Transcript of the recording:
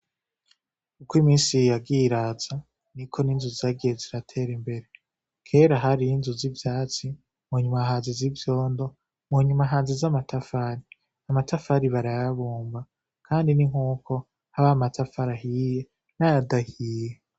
Kuko imisiri yagiraza ni ko ninzu zagiye ziratera imbere kera hariyo inzu z'ivyatsi mu nyumahanzi z'ivyondo munyumahanzi z'amatafari amatafari barayabumba, kandi ni nk'uko haba matafarahiye na yadahiye.